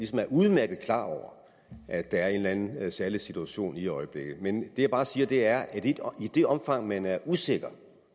skat udmærket er klar over at der er en eller anden særlig situation i øjeblikket men det jeg bare siger er at i det omfang man er usikker